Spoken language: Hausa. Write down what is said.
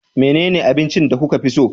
Menene abincin da kuka fi so